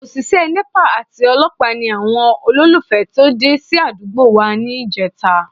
Òṣìṣẹ́ Nepa àti olọ́pàá ni àwọn olólùfẹ́ tó dé sí àdúgbò wa níjẹta